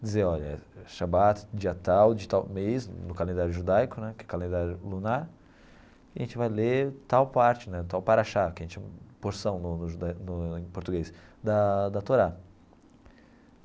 Dizer, olha, Shabbat, dia tal, de tal mês, no calendário judaico né, que é o calendário lunar, e a gente vai ler tal parte né, tal parashá, que a gente a porção no no juda no em português da da Torá.